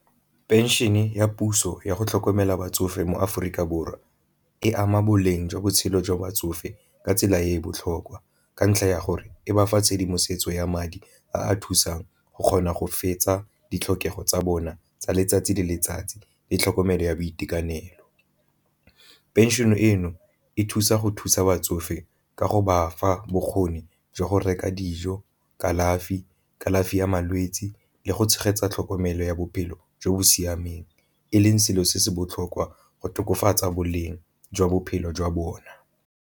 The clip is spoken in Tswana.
Pension-e ya puso yago tlhokomela batsofe mo Aforika Borwa e ama boleng jwa botshelo jwa batsofe ka tsela e e botlhokwa ka ntlha ya gore e ba fa tshedimosetso ya madi a a thusang go kgona go fetsa ditlhokego tsa bona tsa letsatsi le letsatsi le tlhokomelo ya boitekanelo. Pension eno e thusa go thusa batsofe ka go ba fa bokgoni jwa go reka dijo, kalafi, kalafi ya malwetsi le go tshegetsa tlhokomelo ya bophelo jo bo siameng e leng selo se se botlhokwa go tokafatsa boleng jwa bophelo jwa bona.